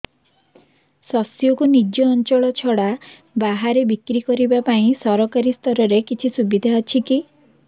ଶସ୍ୟକୁ ନିଜ ଅଞ୍ଚଳ ଛଡା ବାହାରେ ବିକ୍ରି କରିବା ପାଇଁ ସରକାରୀ ସ୍ତରରେ କିଛି ସୁବିଧା ଅଛି କି